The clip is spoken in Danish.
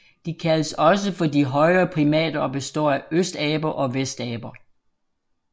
De kaldes også for de højere primater og består af østaber og vestaber